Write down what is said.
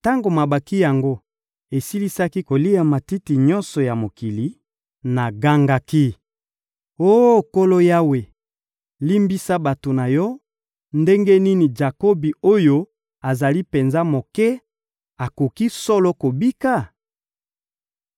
Tango mabanki yango esilisaki kolia matiti nyonso ya mokili, nagangaki: — Oh Nkolo Yawe, limbisa bato na Yo! Ndenge nini Jakobi oyo azali penza moke akoki solo kobika?